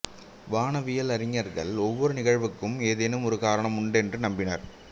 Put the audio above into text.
வானவியல் அறிஞர்கள் ஒவ்வொரு நிகழ்வுக்கும் ஏதேனும் ஒரு காரணம் உண்டென்று நம்பினர்